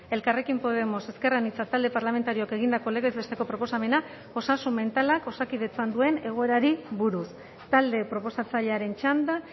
elkarrekin podemos ezker anitza talde parlamentarioak egindako legez besteko proposamena osasun mentalak osakidetzan duen egoerari buruz talde proposatzailearen txanda